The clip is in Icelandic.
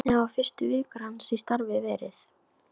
Hvernig hafa fyrstu vikur hans í starfi verið?